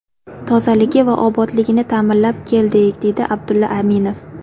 Tozaligi va obodligini ta’minlab keldik”, deydi Abdulla Aminov.